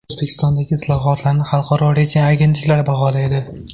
O‘zbekistondagi islohotlarni xalqaro reyting agentliklari baholaydi.